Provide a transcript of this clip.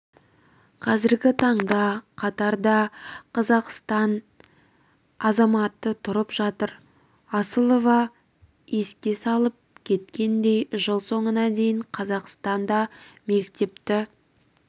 қазіргі таңда катарда қазақстан азаматы тұрып жатыр асылова еске салеп кеткендей жыл соңына дейін қазақстанда мектепті